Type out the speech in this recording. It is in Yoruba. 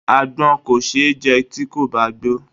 Àgbọn kò ṣe é jẹ tí kò bá gbó.